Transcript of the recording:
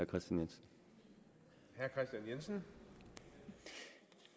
kristian jensen